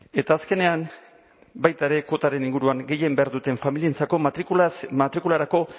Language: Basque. eta azkenean baita ere kotaren inguruan gehien behar duten familientzako matrikularako